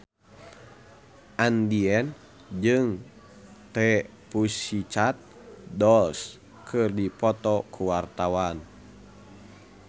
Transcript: Andien jeung The Pussycat Dolls keur dipoto ku wartawan